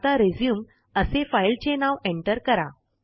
आता रिझ्यूम असे फाईलचे नाव एंटर करा